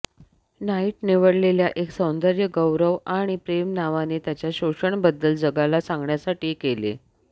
Knight निवडलेल्या एक सौंदर्य गौरव आणि प्रेम नावाने त्यांच्या शोषण बद्दल जगाला सांगण्यासाठी केले